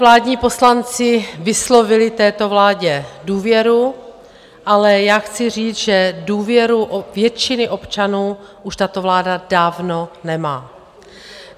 Vládní poslanci vyslovili této vládě důvěru, ale já chci říct, že důvěru většiny občanů už tato vláda dávno nemá.